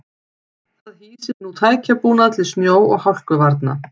Það hýsir nú tækjabúnað til snjó og hálkuvarna.